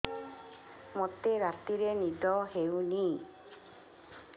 ମୋତେ ରାତିରେ ନିଦ ହେଉନି